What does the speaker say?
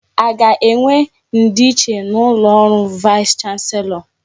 A ga-enwe ndi nche n'ụlọ ọrụ vaịs chanselọ?